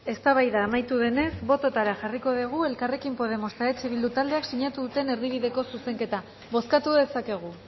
eztabaida amaitu denez botoetara jarriko dugu elkarrekin podemos eta eh bildu taldeak sinatu duten erdibideko zuzenketa bozkatu dezakegu